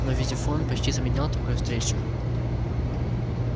но визифон почти заменял такую встречу